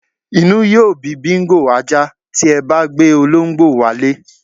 Inú yóó bí Bingo (ajá) tí e̩ bá gbé olóǹgbò wá ilé